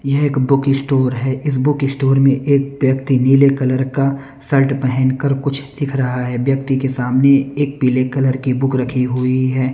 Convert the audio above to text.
यह एक book store है इस बुक इस्टोर में एक व्यक्ति नीले कलर का सर्ट पहनकर कुछ दिख रहा है व्यक्ति के सामने एक पीले कलर की बुक रखी हुई है।